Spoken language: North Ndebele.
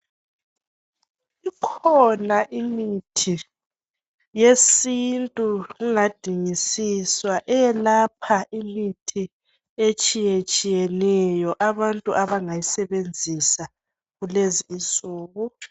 Okhona imithi yesintu kungadinisiswa eyelapha imithi etshiyetshiyeneyo abantu abangayisebenzisa kulezi insuku